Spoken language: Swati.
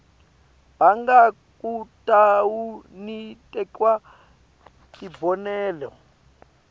banga kutawuniketwa tibonelo